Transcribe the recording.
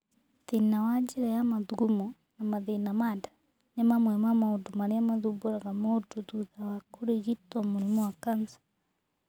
Thĩĩna wa njĩra ya mathugamo na mathĩĩna ma nda nĩ amwe a maũndũ arĩa mathumbũraga mũndũ thutha wa kũrigitwo mũrimũ wa kanca.